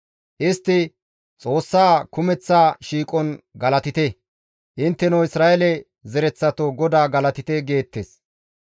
Istti, «Xoossaa kumeththa shiiqon galatite; intteno Isra7eele zereththato GODAA galatite» geettes.